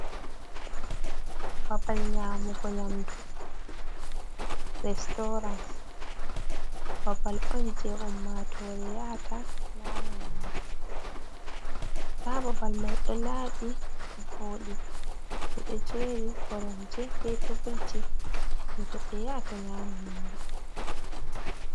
Babal nyamugo nyamdu restorant. babal on je ummatore yata nyama nyamdu. nda babal mai ɗo laɓi ɗo voɗi, ɓeɗo jeri koromje be teburji je goɗɗo yaata nyama nyiri.